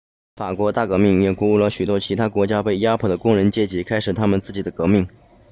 法国大革命也鼓舞了许多其他国家被压迫的工人阶级开始他们自己的革命